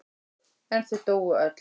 En þau dóu öll.